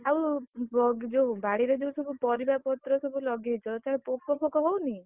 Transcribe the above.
ଆଉ, ଯୋଉ ବାଡିରେ ଯୋଉସବୁ ପରିବା ପତ୍ର ସବୁ ଲଗେଇଛ ତଦେହରେ ପୋକ ଫୋକ ହଉନି?